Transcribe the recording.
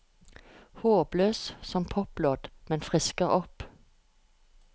Håpløs som poplåt, men frisker opp.